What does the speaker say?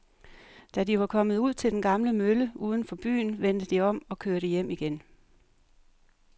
Da de var kommet ud til den gamle mølle uden for byen, vendte de om og kørte hjem igen.